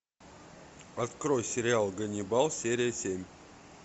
открой сериал ганнибал серия семь